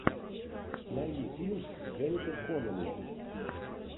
найди фильм с дженнифер коннелли